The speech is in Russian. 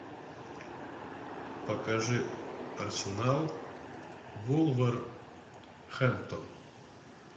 покажи арсенал вулверхэмптон